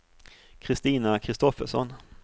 Christina Kristoffersson